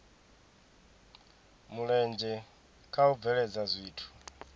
mulenzhe kha u bveledza zwithu